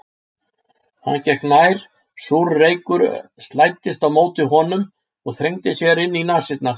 Hann gekk nær, súr reykur slæddist á móti honum og þrengdi sér inn í nasirnar.